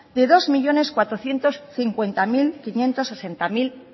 de dos millónes cuatrocientos cincuenta mil quinientos sesenta